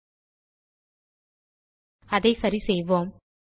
பிழையை சரிசெய்வோம்